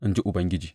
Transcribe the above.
in ji Ubangiji.